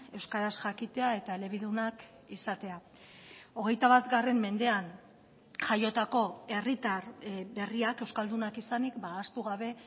euskaraz jakitea eta elebidunak izatea hogeita bat mendean jaiotako herritar berriak euskaldunak izanik ahaztu gabe